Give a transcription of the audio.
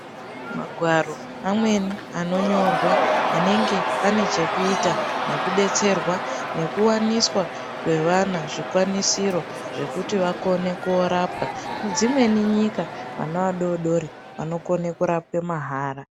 Magwaro amweni anonyorwa anenge ane chekuita nokudetserwa nokuwaniswa kwevana zvikwanisiro zvekuti vakone korapwa, dzimweni nyika vana vadoodori vanokona kurapwe mahara.